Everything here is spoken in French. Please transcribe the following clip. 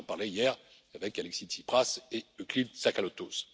J'en parlais hier avec Alexis Tsipras et Euclide Tsakalotos.